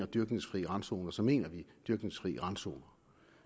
dyrkningsfri randzoner så mener vi dyrkningsfri randzoner